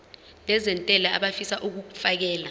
nezentela abafisa uukfakela